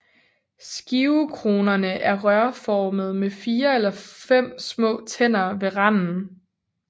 Skivekronerne er rørformede med 4 eller 5 små tænder ved randen